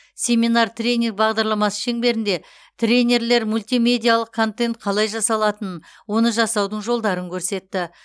семинар тренинг бағдарламасы шеңберінде тренерлер мультимедиалық контент қалай жасалатынын оны жасаудың жолдарын көрсетті